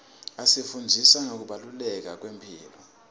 asifundzisa ngekubaluleka kwemphilo